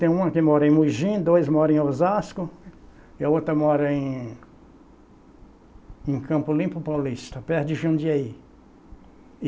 Tem uma que mora em Mogi, dois moram em Osasco, e a outra mora em em Campo Limpo Paulista, perto de Jundiaí.